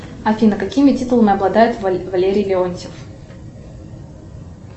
афина какими титулами обладает валерий леонтьев